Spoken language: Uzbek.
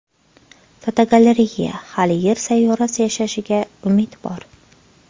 Fotogalereya: Hali Yer sayyorasi yashashiga umid bor.